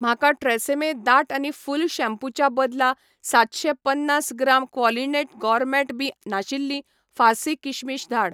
म्हाका ट्रॅसेमे दाट आनी फूल शॅम्पू च्या बदला सातशे पन्नास ग्राम क्वॉलिनट गॉरमेट बीं नाशिल्लीं फार्सी किशमिश धाड